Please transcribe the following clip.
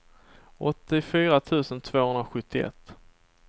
åttiofyra tusen tvåhundrasjuttioett